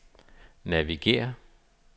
navigér